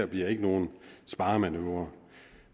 bliver nogen sparemanøvre